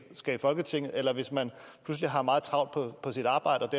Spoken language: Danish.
skal i folketinget eller hvis man pludselig har meget travlt på sit arbejde